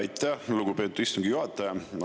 Aitäh, lugupeetud istungi juhataja!